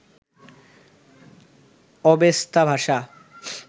Avesta ভাষা